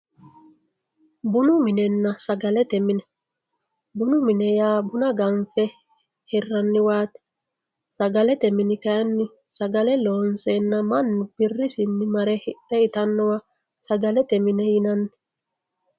bunu minenna sagalete mine bunu mine yaa buna ganfe hirranniwaati sagalete mini kayiinni sagale loonseenna mannu birrisinni mare hidhe itannowa sagalete mine yinanni.